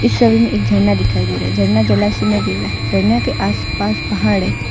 छवि में एक झरना दिखाइ दे रहा झरना जलासी में गिर रहा झरना के आस पास पहाड़ हैं।